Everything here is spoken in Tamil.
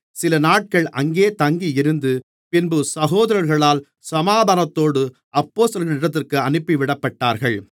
சிலநாட்கள் அங்கே தங்கியிருந்து பின்பு சகோதரர்களால் சமாதானத்தோடு அப்போஸ்தலர்களிடத்திற்கு அனுப்பிவிடப்பட்டார்கள்